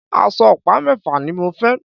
Aṣọ ọ̀pá mẹ́fà ni mo fẹ́